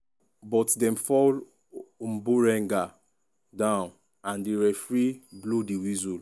but dem fall omborenga down and di referee blow di whistle.